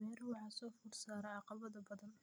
Beeruhu waxa soo food saaray caqabado badan.